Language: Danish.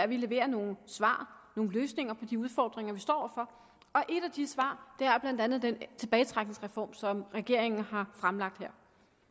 vi leverer nogle svar nogle løsninger på de udfordringer vi står over for og et af de svar er blandt andet den tilbagetrækningsreform som regeringen har fremlagt her